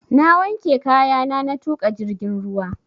Na wanke kayana na tuƙa jirgin ruwa